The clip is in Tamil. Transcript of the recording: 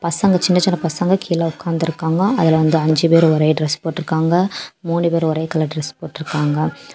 பசங்க சின்ன சின்ன பசங்க கீழ உக்காந்துருக்காங்க அதுல வந்து அஞ்சு பேரு ஒரே டிரஸ் போட்டுருக்காங்க மூணு பேரு ஒரே கலர் டிரஸ் போட்டுருக்காங்க.